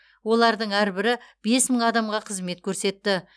олардың әрбірі бес мың адамға қызмет көрсетті